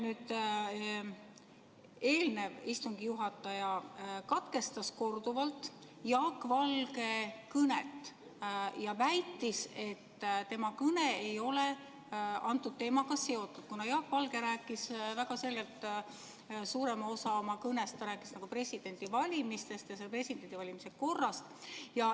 Eelnev istungi juhataja katkestas korduvalt Jaak Valge kõnet ja väitis, et tema kõne ei ole teemaga seotud, kuna Jaak Valge rääkis väga selgelt suurema osa oma kõnest presidendivalimistest ja presidendivalimiste korrast.